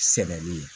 Sɛbɛli ye